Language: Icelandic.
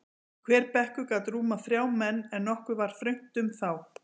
Hver bekkur gat rúmað þrjá menn, en nokkuð var þröngt um þá.